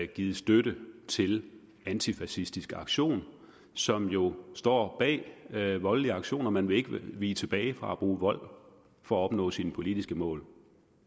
givet støtte til antifascistisk aktion som jo står bag voldelige aktioner man vil ikke vige tilbage fra at bruge vold for at opnå sine politiske mål